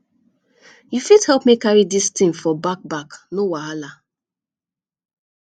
you fit help me carry dis thing for back back no wahala